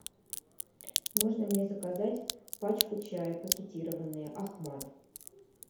можно мне заказать пачку чая пакетированный ахмад